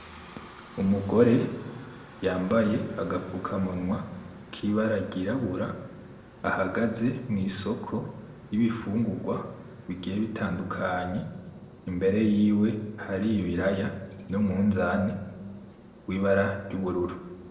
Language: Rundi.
Umugore yambaye agapfukamunwa kibara ryirabura ahagaze mw'isoko y'ibifungurwa bigiye bitandukanye imbere yiwe hari ibiraya n'umunzane w'ibara ry'ubururu.